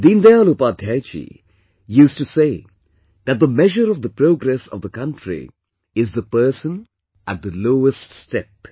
Deendayal Upadhyay ji used to say that the measure of the progress of the country is the person at the loweststep